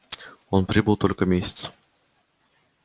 он прибыл только месяц